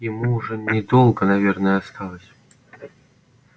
ему уже недолго наверное осталось